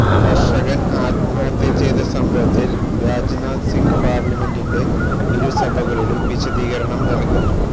കര്ഷകന് ആത്മഹത്യ ചെയ്ത സംഭവത്തില് രാജ്നാഥ് സിംഗ് പാര്ലമെന്റിന്റെ ഇരുസഭകളിലും വിശദീകരണം നല്കും